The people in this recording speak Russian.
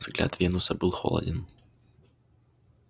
взгляд венуса был холоден